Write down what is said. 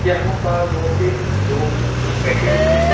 यहां पास बहोत से लोग बैठे हुए हैं।